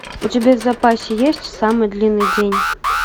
у тебя в запасе есть самый длинный день